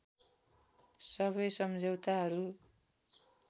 सबै सम्झौताहरू